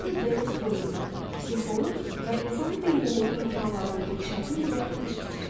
Doktor Denis Wetley, psixoloq və insan beyninin imkanlarının inkişafı üzrə məşqçi.